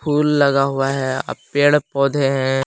Full लगा हुआ है अब पेड़ पौधे हैं।